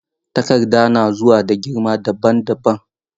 Takarda na zuwa da girma dabam dabam.